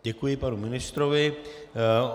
Děkuji panu ministrovi.